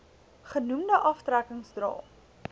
genoemde aftrekkings dra